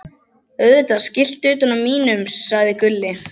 Auðvitað skiltið utan á mínum, sagði Gulli.